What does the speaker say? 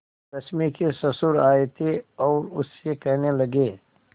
रश्मि के ससुर आए थे और उससे कहने लगे